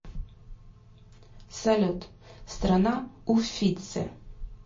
салют страна уффици